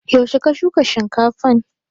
Yaushe ka shuka shinkafan?